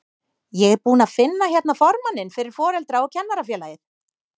Ég er búinn að finna hérna formanninn fyrir Foreldra- og kennarafélagið!